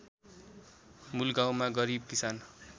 मूलगाउँमा गरिब किसान